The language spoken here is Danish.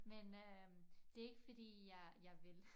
Men øh det ikke fordi jeg jeg vil